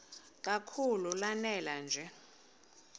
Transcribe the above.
kakhulu lanela nje